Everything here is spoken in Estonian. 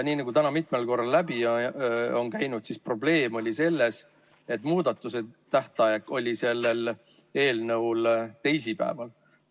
Nii nagu täna mitmel korral läbi on käinud, oli probleem selles, et selle eelnõu muudatusettepanekute tähtaeg oli teisipäeval.